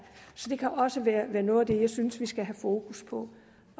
så det kan også være noget af det jeg synes at vi skal have fokus på